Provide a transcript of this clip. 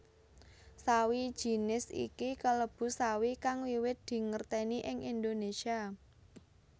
Sawi jinis iki kalebu sawi kang wiwit dingertèni ing Indonésia